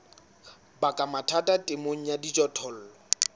baka mathata temong ya dijothollo